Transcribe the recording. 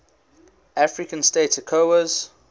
african states ecowas